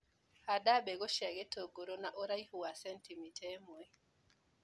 Handa mbegũ cia gĩtũngũrũ na ũraihu wa centimita ĩmwe.